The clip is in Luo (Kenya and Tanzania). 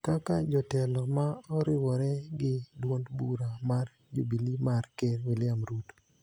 kaka jotelo ma oriwore gi duond bura mar Jubili mar Ker William Ruto